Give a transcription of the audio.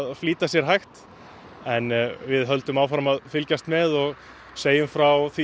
flýta sér hægt en við höldum áfram að fylgjast með og segjum frá því